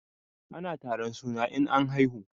Ana taron suna in an haihu.